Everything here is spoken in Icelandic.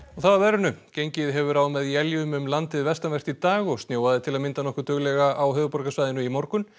þá að veðri gengið hefur á með éljum um landið vestanvert í dag og snjóaði til að mynda nokkuð duglega á höfuðborgarsvæðinu í morgun